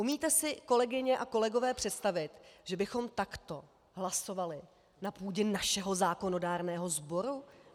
Umíte si, kolegyně a kolegové, představit, že bychom takto hlasovali na půdě našeho zákonodárného sboru?